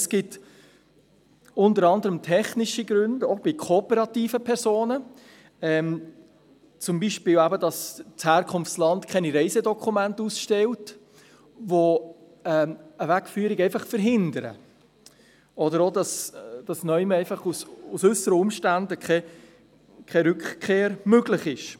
Es gibt unter anderen technische Gründe, auch bei kooperativen Personen, zum Beispiel, dass das Herkunftsland keine Reisedokumente ausstellt, die eine Wegführung verhindern, oder auch, dass aufgrund äusserer Umstände keine Rückkehr möglich ist.